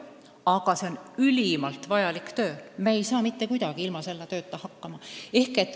Aga see on ülimalt vajalik töö, me ei saa mitte kuidagi ilma selle tööta hakkama.